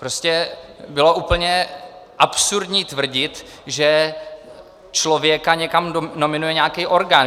Prostě bylo úplně absurdní tvrdit, že člověka někam nominuje nějaký orgán.